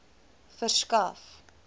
verskaf